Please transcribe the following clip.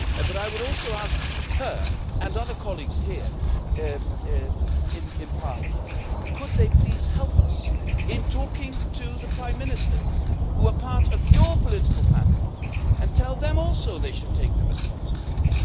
But I would also ask her and other colleagues here in Parliament could they please help us in talking to the prime ministers who are part of your political families, and tell them also they should take the responsibility?